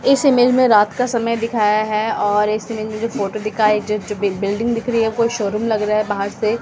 इस इमेज में रात का समय दिखाया है और इस इमेज में जो फोटो दिखा है जो बिल्डिंग दिख रही है कोई शोरूम लग रहा है बाहर से --